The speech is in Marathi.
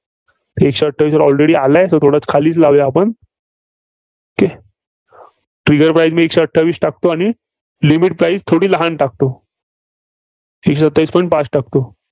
एकशे अठ्ठावीसला already आलाय, so थोडं खालीचं लावूया आपण. Okaytrigger price मी एकशे अठ्ठावीस टाकतो आणि limit price थोडी लहान टाकतो एकशे सत्तावीस point पाच टाकतो.